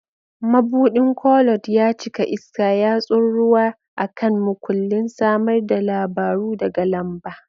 Mabuɗin Koloard ya cika iska, yatsun rawa a kan makullin, samar da labaru daga lamba.